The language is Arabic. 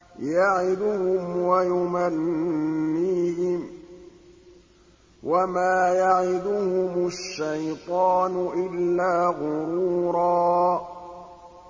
يَعِدُهُمْ وَيُمَنِّيهِمْ ۖ وَمَا يَعِدُهُمُ الشَّيْطَانُ إِلَّا غُرُورًا